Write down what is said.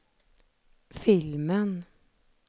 filmen